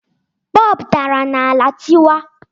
Bọọbụ dara n'ala tịwaa